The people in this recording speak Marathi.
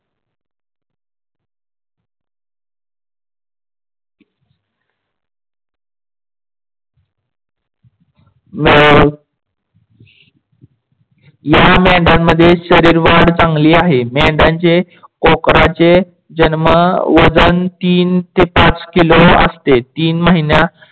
या मेंढयानमध्ये शरीरवाढ चांगली आहे. मेंढयानचे पोखराचे जन्म वजन तीन ते पाच किलो असते. तीनमहिन्या